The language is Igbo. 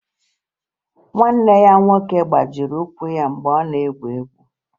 Nwanne ya nwoke gbajiri ụkwụ ya mgbe ọ nọ na-egwu egwu